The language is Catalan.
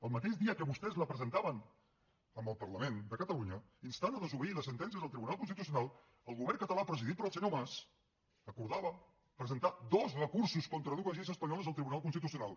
el mateix dia que vostès la presentaven en el parlament de catalunya instant a desobeir les sentències del tribunal constitucional el govern català presidit pel senyor mas acordava presentar dos recursos contra dues lleis espanyoles al tribunal constitucional